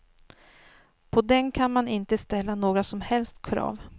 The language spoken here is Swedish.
På den kan man inte ställa några som helst krav.